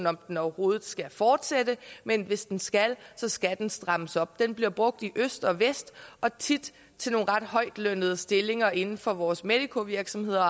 om den overhovedet skal fortsætte men hvis den skal skal den strammes op den bliver brugt i øst og vest og tit til nogle ret højtlønnede stillinger inden for vores medicovirksomheder